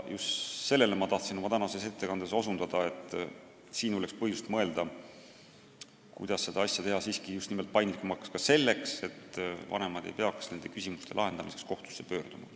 Just sellele ma tahtsin oma tänases ettekandes osutada, et te mõtleksite, kuidas seda regulatsiooni paindlikumaks teha, ja seda ka selleks, et vanemad ei peaks nende küsimuste lahendamiseks kohtusse pöörduma.